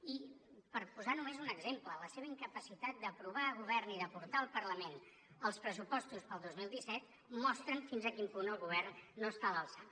i per posar només un exemple la seva incapacitat d’aprovar a govern i de portar al parlament els pressupostos per al dos mil disset mostren fins a quin punt el govern no està a l’alçada